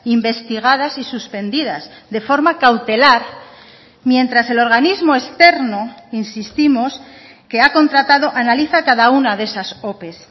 investigadas y suspendidas de forma cautelar mientras el organismo externo insistimos que ha contratado analiza cada una de esas ope